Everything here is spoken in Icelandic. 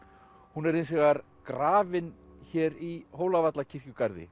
hún er hins vegar grafin hér í